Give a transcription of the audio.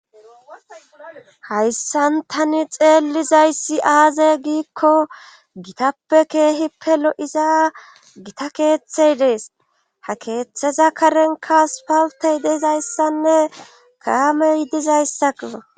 hayssan tani xeellizayssi aaze giikko gitappe keehippe lo'iza gita keeththey dees ha keeththeza karenka asopaltey deizayssanne kaamey dizayssako